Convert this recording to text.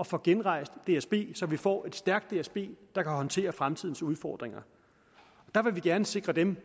at få genrejst dsb så vi får et stærkt dsb der kan håndtere fremtidens udfordringer der vil vi gerne sikre dem den